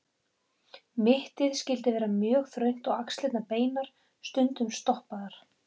Mittið skyldi vera mjög þröngt og axlirnar beinar, stundum stoppaðar.